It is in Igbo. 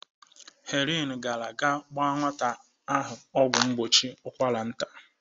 Helen gara ka agba nwata ahụ ọgwụ mgbochi ụkwara nta.